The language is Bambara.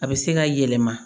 A bɛ se ka yɛlɛma